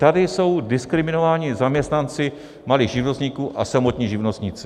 Tady jsou diskriminováni zaměstnanci malých živnostníků a samotní živnostníci.